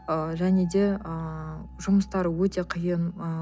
және де ыыы жұмыстары өте қиын ы